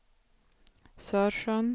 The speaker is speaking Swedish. Sörsjön